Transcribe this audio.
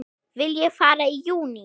Vil ég fara í júní?